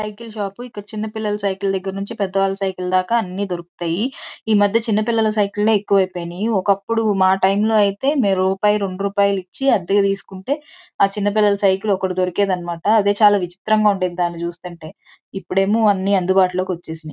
Cycle shop . ఇక్కడ చిన్న పిల్లల సైకిల్ దగ్గర్నుంచి పెద్ద వాళ్ళ సైకిల్ దాకా అన్ని దొరుకుతాయి. ఈ మధ్య చిన్న పిల్లల సైకిల్ లే ఎక్కువైపోయినై. అప్పుడు మా టైం లో అయితే మేం రూపాయి రెండు రూపాయిలిచ్చి అద్దెకి తీసుకుంటే ఆ చిన్న పిల్లల సైకిల్ ఒక్కటి దొరికేదనిమాట అదే చాలా విచిత్రంగా ఉండేది. దాన్ని చూస్తుంటే ఇప్పుడేమో అన్ని అందుబాటులోకి వచ్చేసినాయి.